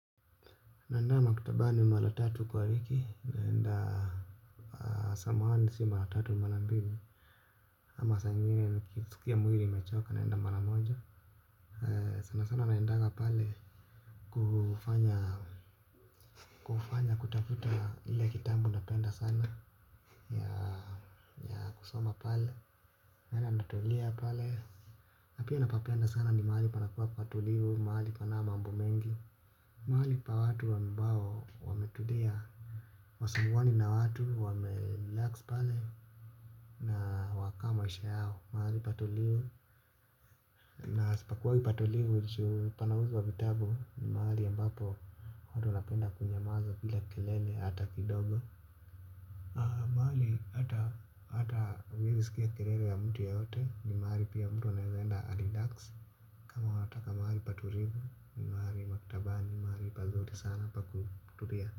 Naenda maktabani mara tatu kwa wiki naenda. Samahani sio mara tatu ni mara mbili. Ama saa ingine nikisikia mwili imechoka naenda mara moja sana sana naendaga pale kufanya kufanya kutafuta ile kitabu napenda sana ya kusoma pale naenda natulia pale na pia napapenda sana ni mahali panakuwa kwa utulivu mahali hapana mambo mengi. Mahali pa watu ambao wametulia hawasinguani na watu wamerelax pale na wakaa maisha yao mahali patulivu na sipakuwa patulivu juu panauzwa vitabu, ni mahali ambapo watu wanapenda kunyamaza bila kelele hata kidogo. Mahali hata huwezi sikia kelele ya mtu yoyote ni mahali pia mtu anaweza enda arelax. Kama wataka maahli patulivu ni mahali maktabani, ni mahali pazuri sana pakutulia.